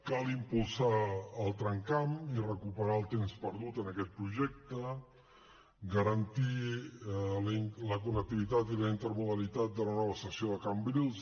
cal impulsar el tramcamp i recuperar el temps perdut en aquest projecte garantir la connectivitat i la intermodalitat de la nova estació de cambrils